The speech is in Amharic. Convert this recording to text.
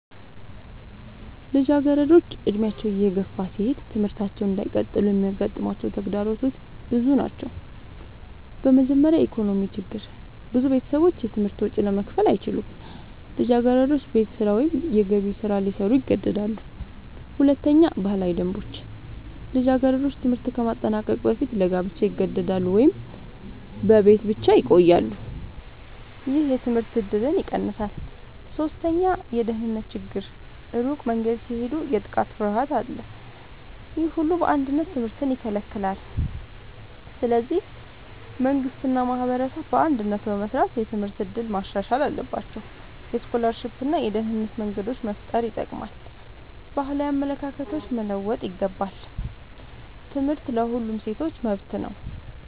ልጃገረዶች ዕድሜያቸው እየገፋ ሲሄድ ትምህርታቸውን እንዳይቀጥሉ የሚያጋጥሟቸው ተግዳሮቶች ብዙ ናቸው። በመጀመሪያ የኢኮኖሚ ችግር ብዙ ቤተሰቦች የትምህርት ወጪ ለመክፈል አይችሉም። ልጃገረዶች ቤት ስራ ወይም የገቢ ስራ ሊሰሩ ይገደዳሉ። ሁለተኛ ባህላዊ ደንቦች ልጃገረዶች ትምህርት ከማጠናቀቅ በፊት ለጋብቻ ይገደዳሉ ወይም በቤት ብቻ ይቆያሉ። ይህ የትምህርት እድልን ይቀንሳል። ሶስተኛ የደህንነት ችግር ሩቅ መንገድ ሲሄዱ የጥቃት ፍርሃት አለ። ይህ ሁሉ በአንድነት ትምህርትን ይከለክላል። ስለዚህ መንግሥት እና ማህበረሰብ በአንድነት በመስራት የትምህርት እድል ማሻሻል አለባቸው። የስኮላርሺፕ እና የደህንነት መንገዶች መፍጠር ይጠቅማል። ባህላዊ አመለካከቶች መለወጥ ይገባል። ትምህርት ለሁሉም ሴቶች መብት ነው።